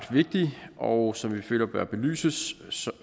vigtige og som vi føler bør belyses